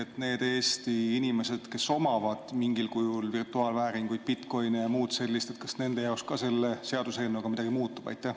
Kas nende Eesti inimeste jaoks, kes omavad mingil kujul virtuaalvääringuid, bitcoin'e ja muud sellist, ka selle seaduseelnõuga midagi muutub?